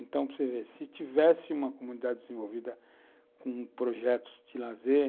Então, você vê se tivesse uma comunidade desenvolvida com projetos de lazer,